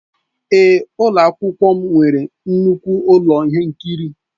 Èé, ụlọ akwụkwọ m nwere nnukwu ụlọ ihe nkiri.